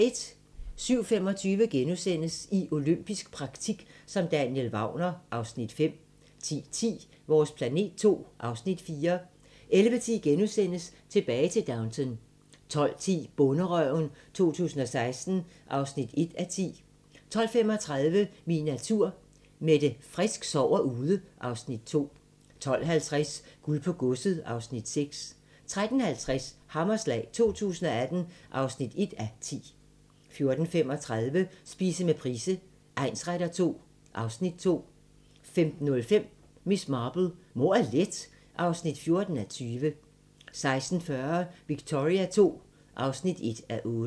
07:25: I olympisk praktik som Daniel Wagner (Afs. 5)* 10:10: Vores planet II (Afs. 4) 11:10: Tilbage til Downton * 12:10: Bonderøven 2016 (1:10) 12:35: Min natur – Mette Frisk sover ude (Afs. 2) 12:50: Guld på godset (Afs. 6) 13:50: Hammerslag 2018 (1:10) 14:35: Spise med Price egnsretter II (Afs. 2) 15:05: Miss Marple: Mord er let (14:20) 16:40: Victoria II (1:8)